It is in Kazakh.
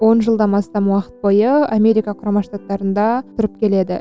он жылдан астам уақыт бойы америка құрама штаттарында тұрып келеді